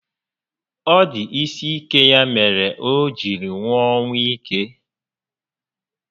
Ọ dị isi ike ya mere o jiri nwụọ ọnwụ íke